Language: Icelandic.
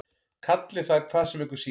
Kallið það hvað sem ykkur sýnist.